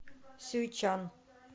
сюйчан